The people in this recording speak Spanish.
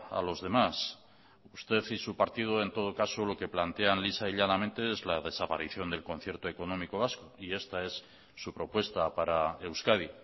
a los demás usted y su partido en todo caso lo que plantean lisa y llanamente es la desaparición del concierto económico vasco y esta es su propuesta para euskadi